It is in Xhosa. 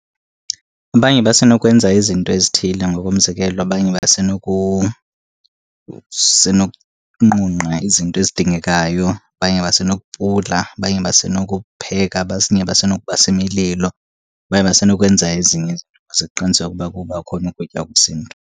Abanye basenokwenza izinto ezithile, ngokomzekelo, abanye basenokunqunqa izinto ezidingekayo. Abanye basenokupula, abanye basenokupheka, basenokubasa imililo, abanye basenokwenza ezinye izinto ze kuqinisekwe ukuba kuba khona ukutya kwesiNtu.